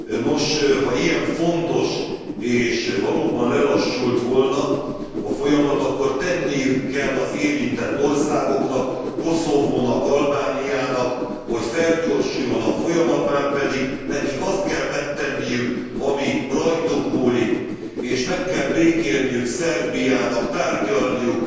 Nos, ha ilyen fontos és valóban lelassult volna a folyamat, akkor tenniük kell az érintett országoknak, Koszovónak, Albániának, hogy felgyorsuljon a folyamat, márpedig nekik azt kell megtenniük, ami rajtuk múlik és meg kell békélniük Szerbiának, tárgyalniuk,